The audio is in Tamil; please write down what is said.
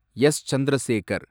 எஸ். சந்திரசேகர்